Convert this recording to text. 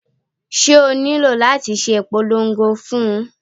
Ṣé o nílò láti ṣe ìpolongo fún un?